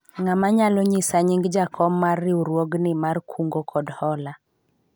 ng'ama nyalao nyisa nying jakom mar riwruogni mar kungo kod hola ?